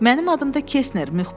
Mənim adım da Kesner,